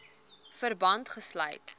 verband gesluit